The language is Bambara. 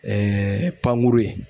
paŋuru ye